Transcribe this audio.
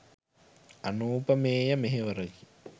අනූපමේය මෙහෙවරකි.